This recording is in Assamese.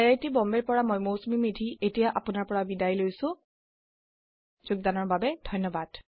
আই আই টী বম্বে ৰ পৰা মই মৌচুমী মেধী এতিয়া আপোনাৰ পৰা বিদায় লৈছো যোগদানৰ বাবে ধন্যবাদ